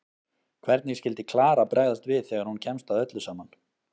Hvernig skyldi Klara bregðast við þegar hún kemst að öllu saman?